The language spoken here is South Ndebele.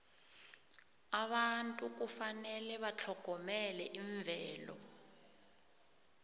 abantu kufanele batlhogomele imvelo